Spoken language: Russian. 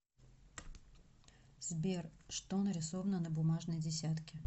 сбер что нарисовано на бумажной десятке